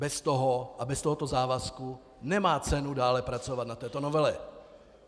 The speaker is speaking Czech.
Bez toho a bez tohoto závazku nemá cenu dále pracovat na této novele.